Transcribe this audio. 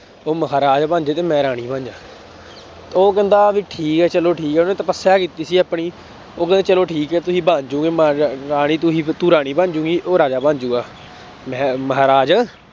ਉਹ ਮਹਾਰਾਜ ਬਣ ਜਾਏ ਤੇ ਮੈਂ ਰਾਣੀ ਬਣ ਜਾਵਾਂ ਉਹ ਕਹਿੰਦਾ ਵੀ ਠੀਕ ਹੈ ਚਲੋ ਠੀਕ ਹੈ ਉਹਨੇ ਤਪੱਸਿਆ ਕੀਤੀ ਸੀ ਆਪਣੀ, ਉਹ ਕਹਿੰਦਾ ਚਲੋ ਠੀਕ ਹੈ ਤੁਸੀਂ ਬਣ ਜਾਓਗੇ ਮਹਾਰਾਣੀ ਤੁਸੀਂ ਤੂੰ ਰਾਣੀ ਬਣ ਜਾਏਂਗੀ ਉਹ ਰਾਜਾ ਬਣ ਜਾਊਗੀ ਮ ਮਹਾਰਾਜ